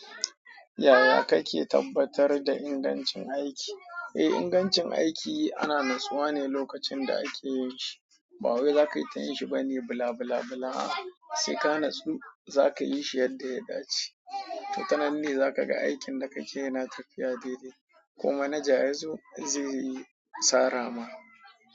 Yaya kake tabbatar da ingancin aiki? Eh, ingancin aiki ana natsawa ne lokacin da ake yin shi. Ba wai zaka yi ta yin shi bane bila bila bila. A'a, sai ka natsu zaka yi shi yadda ya dace. To, tananne za ka ga aikin da kake yana tafiya daidai. Ko manaja yazo zai sara ma.